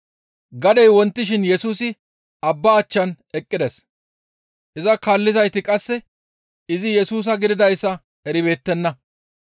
Gadey wontishin Yesusi abba achchan eqqides; iza kaallizayti qasse izi Yesusa gididayssa eribeettenna.